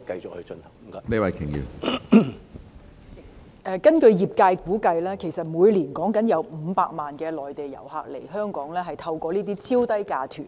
主席，根據業界估計，每年有500萬內地遊客透過這類超低價團